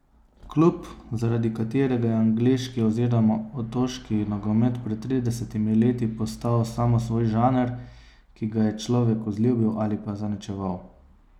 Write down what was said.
Klub, zaradi katerega je angleški oziroma otoški nogomet pred tridesetimi leti postal samosvoj žanr, ki ga je človek vzljubil ali pa zaničeval.